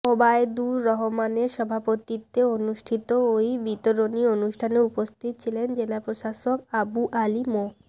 ওবায়দুর রহমানের সভাপতিত্বে অনুষ্ঠিত ওই বিতরণী অনুষ্ঠানে উপস্থিত ছিলেন জেলা প্রশাসক আবু আলী মো